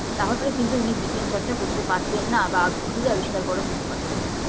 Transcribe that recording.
তাহলে কিন্তু উনি বিজ্ঞান চর্চা করতে পারতেন না বা ওষুধ আবিষ্কার করা যেতে পারতো না